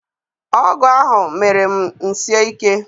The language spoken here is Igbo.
Ọgwụ ahụ mere m sie ike.